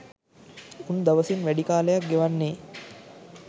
උන් දවසින් වැඩි කාලයක් ගෙවන්නේ